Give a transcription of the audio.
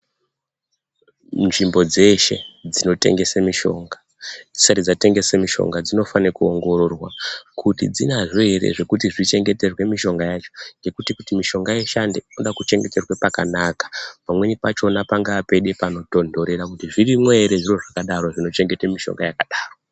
Nzvimbo dzeshe dzinotengese mishonga, dzisati dzatengese mishonga, dzinofanire kuongororwa kuti dzinazvo ere zvekuti dzichengeterwe mishonga yacho., ngekuti kuti mishonga ishande kude kuchengetwe pakanaka. Pamweni pachona pangaa panode pano tonhorera , kuti zvirimwo ere zvino zvakadaro zvino chengete mishonga yakadaro.